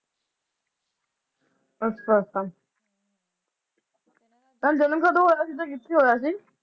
ਅੱਛਾ ਅੱਛਾ ਇਹਨਾਂ ਦਾ ਜਨਮ ਕਦੋ ਹੋਇਆ ਸੀ ਕਿਥੇ ਤੇ ਹੋਇਆ ਸੀ